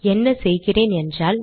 என்ன செய்கிறேன் என்றால்